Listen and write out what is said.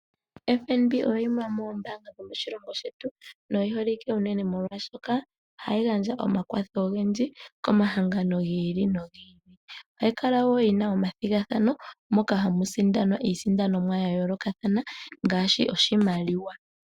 FNB oyo yimwe yomoombaanga dho moshilongo shetu noyi holike unene molwashoka ohayi gandja omakwatho ogendji ko mahangano gi ili nogi ili. Ohayi kala wo yina omathigathano moka hamu sindanwa iisindanomwa ya yoolokathana ngaashi oshimaliwa.